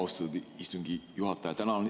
Austatud istungi juhataja!